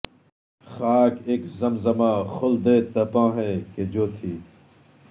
خاک اک زمزمہ خلد تپاں ہے کہ جو تھی